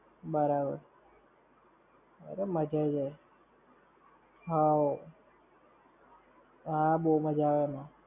બરાબર. અરે મજા આઈ જાય. હોવ. હા બવ મજા આવે એમાં.